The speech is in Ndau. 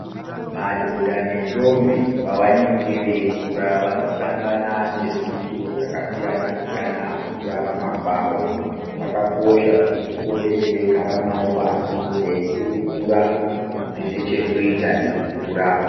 Madhodha nendombi pavanenge veikura vanosangana nezviitiko zvakasiyana-siyana mukurarama kwavo. Zvakakosha kuti tipote teigara navo pashi teikurukura zvine chekuita nekukura.